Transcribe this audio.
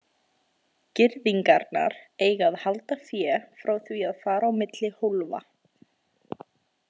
Girðingarnar eiga að halda fé frá því að fara á milli hólfa.